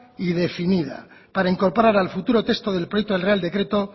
y definida para incorporar al futuro texto del proyecto del real decreto